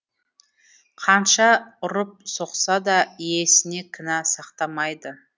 қанша ұрып соқса да иесіне кінә сақтамайды